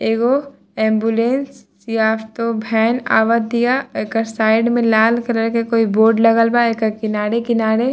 एगो एम्बुलेंस या तो वैन आवात या एकर साइड में लाल कलर के कोई बोर्ड लगल बा एकर किनारे किनारे --